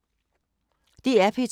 DR P2